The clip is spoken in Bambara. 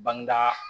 Bangeda